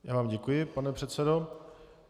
Já vám děkuji, pane předsedo.